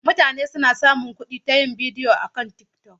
Mutane suna samun kuɗi ta yin bidiyo akan TikTok.